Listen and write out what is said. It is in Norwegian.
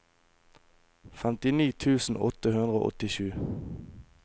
femtini tusen åtte hundre og åttisju